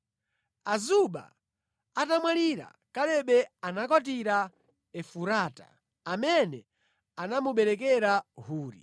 Azuba atamwalira, Kalebe anakwatira Efurata, amene anamuberekera Huri.